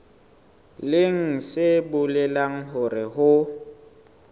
leng se bolelang hore ho